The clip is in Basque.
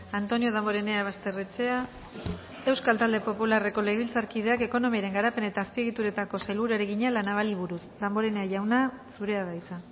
antonio damborenea basterrechea euskal talde popularreko legebiltzarkideak ekonomiaren garapen eta azpiegituretako sailburuari egina la navali buruz damborenea jauna zurea da hitza